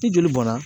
Ni joli bɔnna